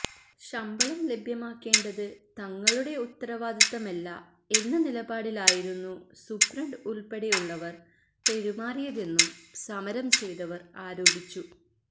ശമ്പളം ലഭ്യമാക്കേണ്ടത് തങ്ങളുടെ ഉത്തരവാദിത്തമല്ല എന്ന നിലപാടിലായിരുന്നു സൂപ്രണ്ട് ഉള്പ്പെടെയുള്ളവര് പെരുമാറിയതെന്നും സമരം ചെയ്തവര് ആരോപിച്ചു